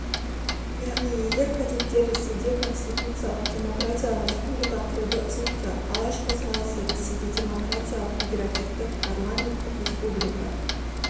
яғни егер кадеттер ресейде конституциялық-демократиялық республика құруды ұсынса алаш қозғалысы ресейде демократиялық федеративтік парламенттік республика